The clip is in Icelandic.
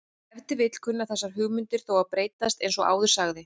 Ef til vill kunna þessar hugmyndir þó að breytast eins og áður sagði.